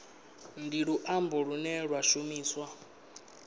ndi luambo lune lwa shumiswa